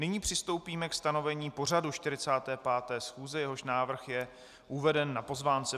Nyní přistoupíme ke stanovení pořadu 45. schůze, jehož návrh je uveden na pozvánce.